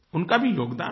उनका भी योगदान है